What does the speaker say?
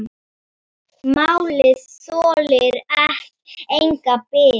Málið þolir enga bið.